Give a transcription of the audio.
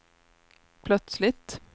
plötsligt